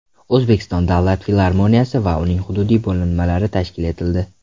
O‘zbekiston davlat filarmoniyasi va uning hududiy bo‘linmalari tashkil etildi.